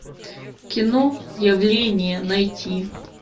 кино явление найти